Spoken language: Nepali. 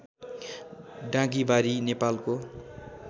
डाँगीबारी नेपालको